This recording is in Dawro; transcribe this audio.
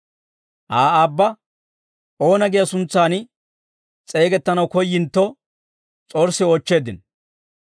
Aa aabba, oona giyaa suntsan s'eegettanaw koyyintto s'orssi oochcheeddino.